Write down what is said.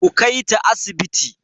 Ku kaita asibiti!